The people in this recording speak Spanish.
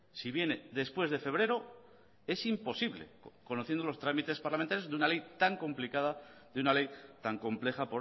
si viene después de febrero es imposible conociendo los trámites parlamentarios de una ley tan complicada de una ley tan compleja